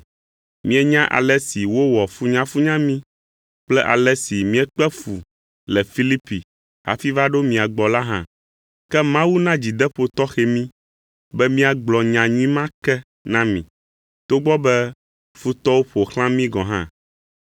Mienya ale si wowɔ funyafunya mí kple ale si míekpe fu le Filipi hafi va ɖo mia gbɔ la hã. Ke Mawu na dzideƒo tɔxɛ mí, be míagblɔ nyanyui ma ke na mi, togbɔ be futɔwo ƒo xlã mí gɔ̃ hã.